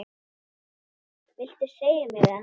Viltu segja mér það?